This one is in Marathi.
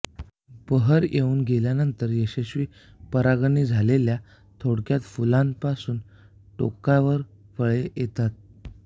बहर येऊन गेल्यानंतर यशस्वी परागण झालेल्या थोडक्यात फुलांपासून टोकावर फळे येतात